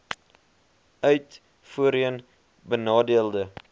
uit voorheen benadeelde